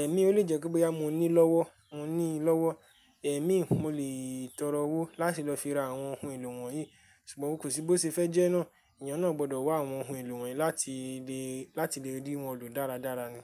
Ẹ̀mí ó lè jẹ́ pé báyìí mo ní lọ́wọ́, mo ní lọ́wọ́ ẹ̀mí mo lè tọrọ owó láti lọ ra àwọn ohun èlò wọ̀nyí. Ṣùgbọ́n kò sí bó ṣe fẹ́ jẹ́ náà, ènìyàn náà gbọ́dọ̀ wá àwọn ohun èlò wọ̀nyí láti lè, láti lè rí wọn lò dáradára ni.